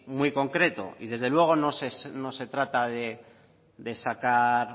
muy concreto y desde luego no se trata de sacar